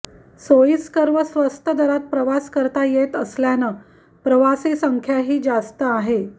सोयीस्कर व स्वस्त दरात प्रवास करता येत असल्यानं प्रवासी संख्याही जास्त आहे